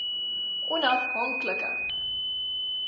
onaf hank like